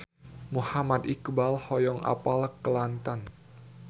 Muhammad Iqbal hoyong apal Kelantan